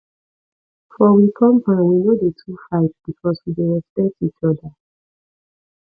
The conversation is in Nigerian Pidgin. for we compound we no dey too fight because we dey respect each oda